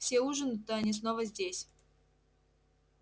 все ужинают а они снова здесь